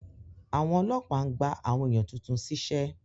Àwọn ọlọ́pàá ń gba àwọn èèyàn tuntun ṣíṣẹ́